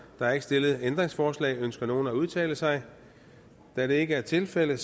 er ikke stillet ændringsforslag ønsker nogen at udtale sig da det ikke er tilfældet